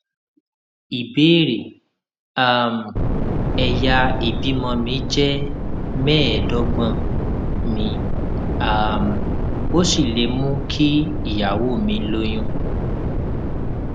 ìbéèrè um èyà ìbímọ mi jé méèédógbòn mi um ò sì lè mú kí ìyàwó mi lóyún